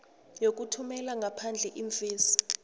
yokuthumela ngaphandle iimfesi